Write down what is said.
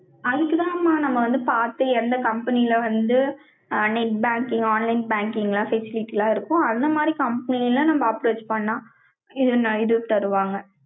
அதுக்குதாம்மா, நம்ம வந்து பார்த்து, எந்த company ல வந்து, ஆ, net bank யையும், online banking ல, facilities எல்லாம் இருக்கும். அந்த மாதிரி, company ல, நம்ம approach பண்ணா, இது தருவாங்க